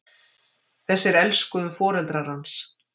Þessir elsku foreldrar hans!